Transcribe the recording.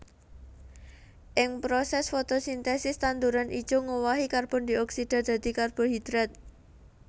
Ing prosès fotosintesis tanduran ijo ngowahi karbon dioksida dadi karbohidrat